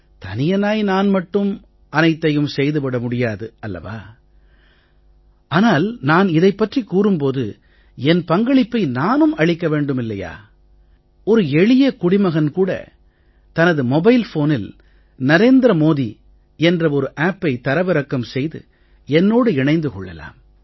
தனியனாய் நான் மட்டுமே அனைத்தையும் செய்து விட முடியாது அல்லவா ஆனால் நான் இதைப் பற்றிக் கூறும் போது என் பங்களிப்பை நானும் அளிக்க வேண்டுமல்லவா ஒரு எளிய குடிமகன் கூட தனது மொபைல் ஃபோனில் நரேந்திர மோதி என்ற ஒரு Appஐ தரவிறக்கம் செய்து என்னோடு இணைந்து கொள்ளலாம்